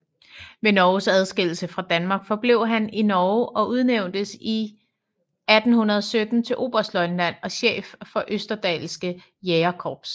Ved Norges adskillelse fra Danmark forblev han i Norge og udnævntes 1817 til oberstløjtnant og chef for Østerdalske Jægerkorps